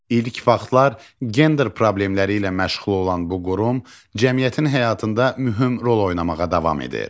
İlk vaxtlar gender problemləri ilə məşğul olan bu qurum cəmiyyətin həyatında mühüm rol oynamağa davam edir.